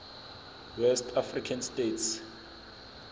west african states